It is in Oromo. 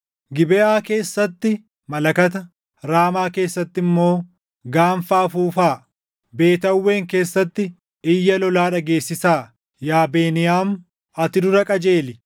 “Gibeʼaa keessatti malakata, Raamaa keessatti immoo gaanfa afuufaa. Beet Aawwen keessatti iyya lolaa dhageessisaa; yaa Beniyaam, ati dura qajeeli.